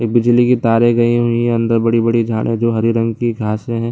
एक बिजली की तारें गई हुई हैं अंदर बड़ी-बड़ी झाड़े जो हरी रंग की घासें हैं।